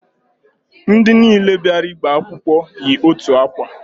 Ndị niile bịara ịgba akwụkwọ yi otu akwa